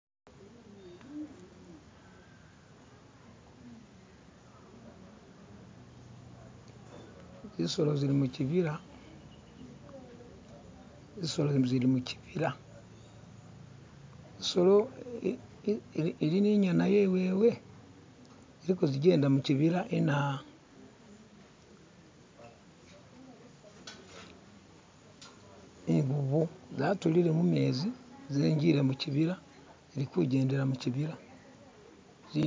Zisolo zili muchibila zisolo zili muchibila isolo ili ni inyana yewewe ziliko zijenda muchibila inaa invuvu zatulile mumezi zinjile muchibila zilikujendela muchibila